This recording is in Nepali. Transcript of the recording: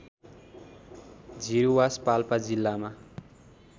झिरूवास पाल्पा जिल्लामा